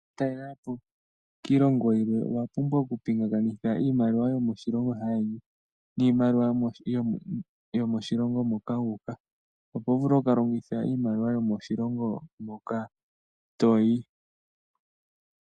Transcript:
Uuna toka talela po kiilongo yimwe owa pumbwa oku pingakanitha iimaliwa yomoshilongo shaayeni niimaliwa yomoshilongo moka wuuka, opo wu vule oku longitha iimaliwa yomoshilongo moka toyi.